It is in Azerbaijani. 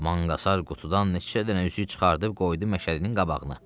Manqasar qutudan neçə dənə üzük çıxarıb qoydu Məşədinin qabağına.